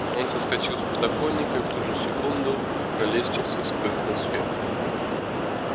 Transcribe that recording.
он соскочил с подоконника и в ту же секунду на лестнице вспыхнул свет